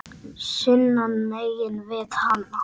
sunnan megin við hana.